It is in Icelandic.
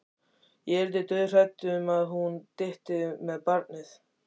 Ég yrði dauðhrædd um að hún dytti með barnið.